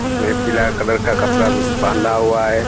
इस में पीला कलर का कपड़ा बाँधा हुआ है।